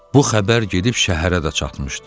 Bu xəbər gedib şəhərə də çatmışdı.